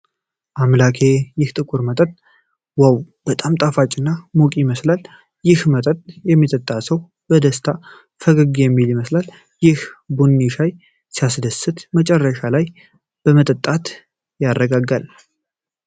አምላኬ! ይህ ጥቁር መጠጥ ዋው! በጣም ጣፋጭ እና ሙቅ ይመስላል። ይህን መጠጥ የሚጠጣ ሰው በደስታ ፈገግ የሚል ይመስለኛል። ይህን ቢኒ ሻይ ሲያስደስት! መጨረሻ ላይ መጠጣት ያረጋጋል።